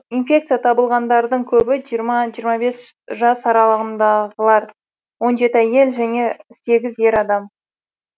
инфекция табылғандардың көбі жиырма жиырма бес жас аралығындағылар он жеті әйел және сегіз ер адам